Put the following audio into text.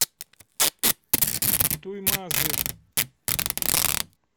туймазы